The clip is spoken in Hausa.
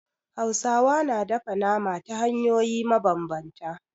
Hausawa na dafa nama ta hanyoyi mabambanta.